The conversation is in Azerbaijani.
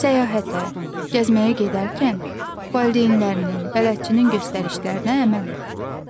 Səyahətə, gəzməyə gedərkən valideynlərinin, bələdçinin göstərilərinə əməl et.